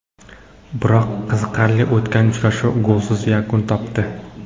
Biroq qiziqarli o‘tgan uchrashuv golsiz yakun topdi.